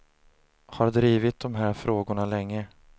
Har drivit de här frågorna länge.